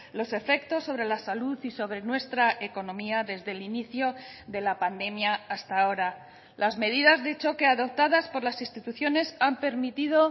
los efectos sobre la salud y sobre nuestra economía desde el inicio de la pandemia hasta ahora las medidas de choque adoptadas por las instituciones han permitido